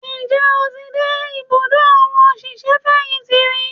Ǹjẹ́ o ti dé ìbùdó àwọn òṣìṣẹ́ fẹ̀yìntì rí?